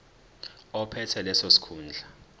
ophethe leso sikhundla